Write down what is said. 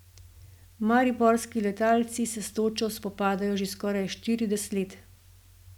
Mariborski letalci se s točo spopadajo že skoraj štirideset let.